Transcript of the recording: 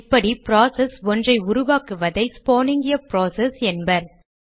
இப்படி ப்ராசஸ் ஒன்றை உருவாக்குவதை ஸ்பானிங் எ ப்ராசஸ் என்பர்